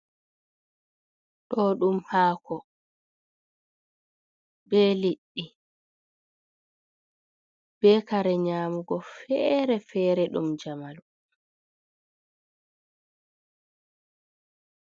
Ɗo ɗum haako be leɗɗi be kare nyamugo fere-fere ɗum jamanu.